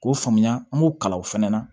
K'o faamuya an b'o kalan o fɛnɛ na